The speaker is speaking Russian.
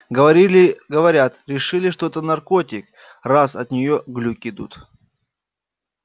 говорили говорят решили что это наркотик раз от неё глюки идут